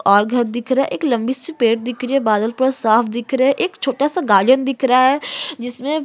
और घर दिख रहा है एक लंबी सी पेड़ दिख रही है बादल भी साफ दिख रहें हैं एक छोटा सा गार्डन दिख रहा है जिसमें --